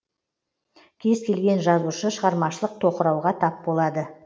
кез келген жазушы шығармашылық тоқырауға тап болады